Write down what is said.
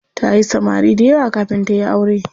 Tayi samari dayawa kafin tayi aure.